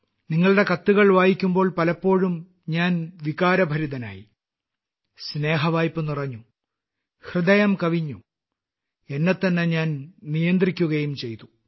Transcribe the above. നിങ്ങളുടെ കത്തുകൾ വായിക്കുമ്പോൾ പലപ്പോഴും ഞാൻ വികാരഭരിതനായി സ്നേഹവായ്പ് നിറഞ്ഞു ഹൃദയം കവിഞ്ഞു എന്നെത്തന്നെ ഞാൻ നിയന്ത്രിക്കുകയും ചെയ്തു